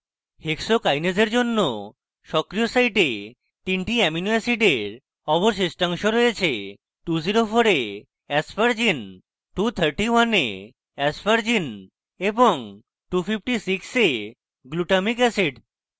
hexokinase এর জন্য সক্রিয় site 3 টি অ্যামিনো অ্যাসিডের অবশিষ্টাংশ রয়েছে 204 এ aspergine 231 এ aspergine এবং 256 এ glutamic অ্যাসিড